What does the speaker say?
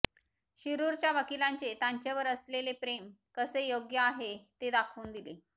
शिरूरच्या वकिलांचे त्यांचेवर असलेले प्रेम कसे योग्य आहे ते दाखवून दिले